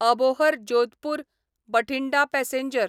Abohar Jodhpur Bathinda passenger